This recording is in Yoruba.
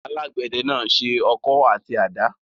Alágbẹ̀dẹ náà se ọkọ́ àti àdá.